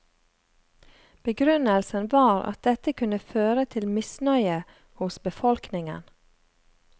Begrunnelsen var at dette kunne føre til misnøye hos befolkningen.